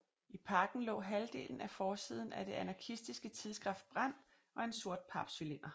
I pakken lå halvdelen af forsiden af det anarkistiske tidsskrift Brand og en sort papcylinder